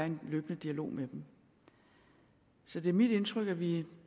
en løbende dialog med dem så det er mit indtryk at vi er